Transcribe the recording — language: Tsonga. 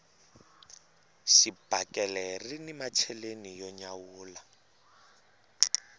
xibakele rini macheleni yo nyawula